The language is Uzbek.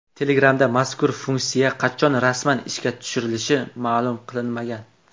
Telegram’da mazkur funksiya qachon rasman ishga tushirilishi ma’lum qilinmagan.